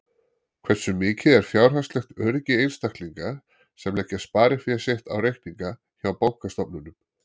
Hversu mikið er fjárhagslegt öryggi einstaklinga sem leggja sparifé sitt á reikninga hjá bankastofnunum?